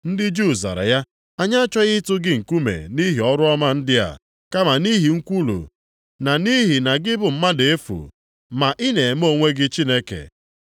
Ndị Juu zara ya, “Anyị achọghị ịtụ gị nkume nʼihi ọrụ ọma ndị a, kama nʼihi nkwulu na nʼihi na gị bụ mmadụ efu, ma ị na-eme onwe gị Chineke.”